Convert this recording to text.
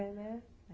É, né?